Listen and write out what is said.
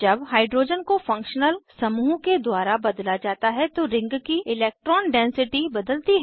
जब हाइड्रोजन को फंक्शनल समूह के द्वारा बदला जाता है तो रिंग की इलेक्ट्रॉन डेन्सिटी बदलती है